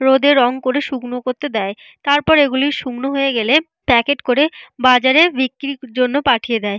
রোদে রং করে শুকনো করতে দেয়। তারপর এগুলি শুকনো হয়ে গেলে প্যাকেট করে বাজারের বিক্রির জন্য পাঠিয়ে দেয়।